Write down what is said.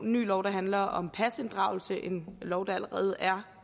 ny lov der handler om pasinddragelse en lov der allerede er